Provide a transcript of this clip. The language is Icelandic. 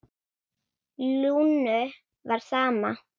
Lúnu var sama.